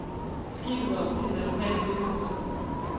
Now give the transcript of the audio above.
Skibet var omgivet af lokale fiskerbåde.